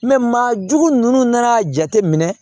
maajugu ninnu nan'a jateminɛ